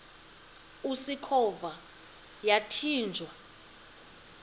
usikhova yathinjw a